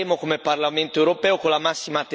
come Parlamento europeo con la massima attenzione.